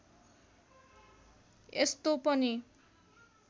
यस्तो पनि